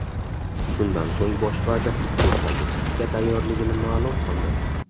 Shundan so‘ng bosh vazir iste’foga chiqishga tayyorligini ma’lum qildi .